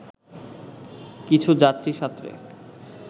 কিছু যাত্রী সাঁতরে